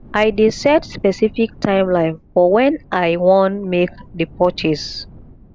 i dey set specific timeline for wen i wan make the purchase